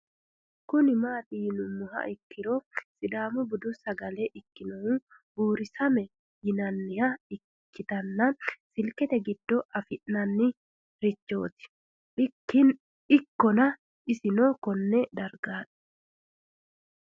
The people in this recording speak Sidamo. Kuni mati yinumoha ikiro sidaamu budu sagale ikinohu buuri same yinaniha ikitana silikete gido afina'ni richot ikana isino Kone darga